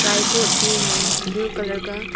Tripod भी है blue colour का।